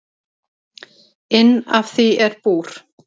Inn af því er búr.